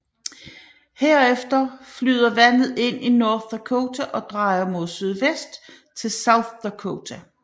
Herefter flyder vandet ind i North Dakota og drejer mod sydøst til South Dakota